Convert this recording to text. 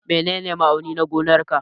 Menene ma'auni na gonan ka?